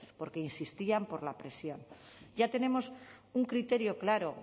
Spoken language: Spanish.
porque insistían por la presión ya tenemos un criterio claro